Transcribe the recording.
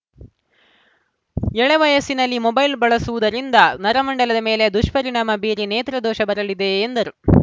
ಎಳೆ ವಯಸ್ಸಿನಲ್ಲಿ ಮೊಬೈಲ್‌ ಬಳಸುವುದರಿಂದ ನರಮಂಡಲದ ಮೇಲೆ ದುಷ್ಪರಿಣಾಮ ಬೀರಿ ನೇತ್ರ ದೋಷ ಬರಲಿದೆ ಎಂದರು